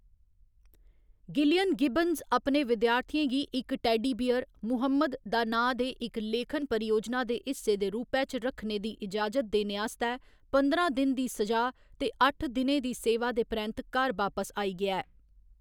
Gillian Gibbons अपने विद्यार्थिएं गी इक टेडी बियर 'मुहम्मद' दा नांऽ दे इक लेखन परियोजना दे हिस्से दे रूपै च रखने दी इजाजत देने आस्तै पंदरां दिन दी सजा ते अट्ठ दिनें दी सेवा दे परैंत्त घर बापस आई गेआ ऐ।